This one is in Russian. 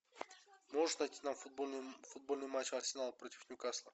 можешь найти нам футбольный матч арсенал против ньюкасла